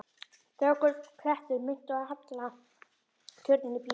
Stöku klettur minnti á halla turninn í Písa.